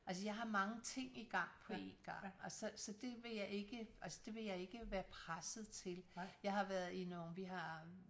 Altås jeg har mange ting igang på en gang så så det vil jeg ikke altså det vil jeg ikke være presset til jeg har været i nogle vi har